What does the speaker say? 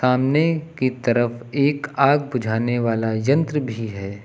सामने की तरफ एक आग बुझाने वाला यंत्र भी है।